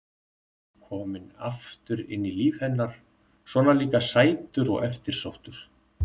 Kominn aftur inn í líf hennar, svona líka sætur og eftirsóttur.